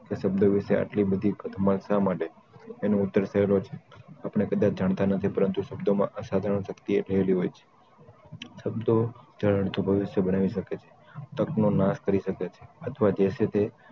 કે શબ્દો વિશે એટલી બધી ઘટમાળ શા માટે? એનો ઉત્તર સહેલો છે આપણે કદાચ જાણતા નથી કે પરંતુ શબ્દો માં અસાધારણ શક્તિ રહેલી હોય છે શબ્દો ઉજ્જવળ ભવિષ્ય બનાવી શકે છે તક નો નાશ કરી શકે છે અથવા જે છે તે